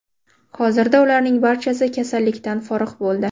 Hozirda ularning barchasi kasallikdan forig‘ bo‘ldi.